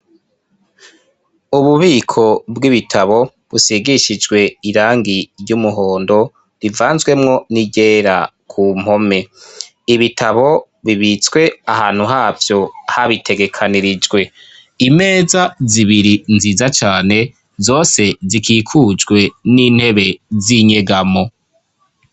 Ububiko bw'ibitabo busigishijwe irangi ry'umuhondo rivanzwemwo n'iryera ku mpome ibitabo bibitswe ahantu havyo habitegekanirijwe imeza zibiri nziza cane zose zikikujwe n'intebe zinyegamo.